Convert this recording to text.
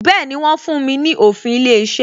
Bẹẹni, wọ́n fún mi ní òfin ilé iṣẹ́